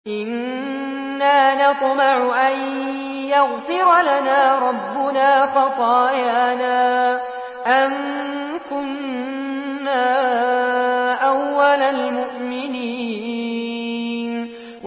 إِنَّا نَطْمَعُ أَن يَغْفِرَ لَنَا رَبُّنَا خَطَايَانَا أَن كُنَّا أَوَّلَ الْمُؤْمِنِينَ